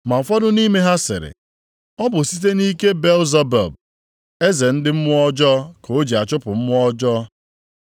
Ma ụfọdụ nʼime ha sịrị, “Ọ bụ site nʼike Belzebub eze ndị mmụọ ọjọọ ka o ji achụpụ mmụọ ọjọọ.”